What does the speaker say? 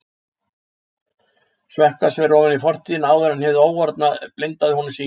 Sökkva sér ofan í fortíðina áður en hið óorðna blindaði honum sýn.